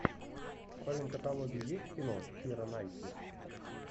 в твоем каталоге есть кино кира найтли